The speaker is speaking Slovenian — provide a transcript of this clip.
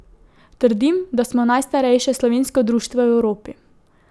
Trdim, da smo najstarejše slovensko društvo v Evropi.